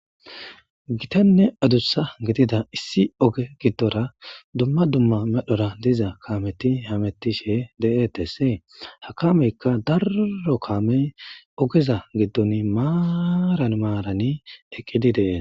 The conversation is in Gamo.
gitanne adussa gidida issi oge giddora dumma dumma medhora diza kaameti hamettishe de7etesee ha kameykka darro kaamey ogeza giddon maaran maarani eqqidi dee